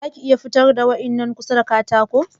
Za ka iya fitar da wannan ƙusa daga katako?